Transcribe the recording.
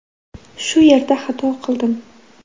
Shu yerda xato qildim.